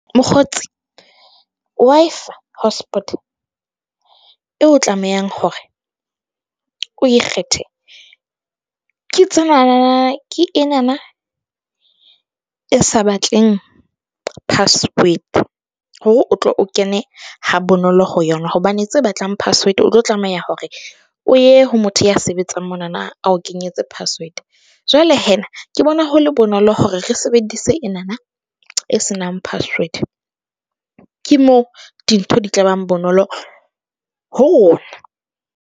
Mokgotsi eo tlamehang hore o e kgethe ke tse na na na, ke e na na e sa batleng password hore o tlo o kene ha bonolo ho yona, hobane tse batlang password o tlo tlameha hore o ye ho motho ya sebetsang mo na na a o kenyetse password. Jwale ke bona ho le bonolo hore re sebedise e na na e senang password, ke mo dintho di tla bang bonolo ho rona.